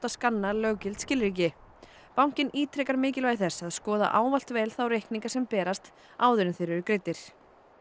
skanna löggild skilríki bankinn ítrekar mikilvægi þess að skoða ávallt vel þá reikninga sem berast áður en þeir eru greiddir